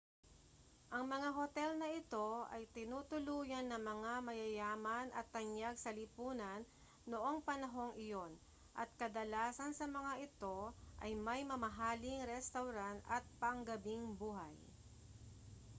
ang mga hotel na ito ay tinutuluyan ng mga mayayaman at tanyag sa lipunan noong panahong iyon at kadalasan sa mga ito ay may mamahaling restawran at panggabing buhay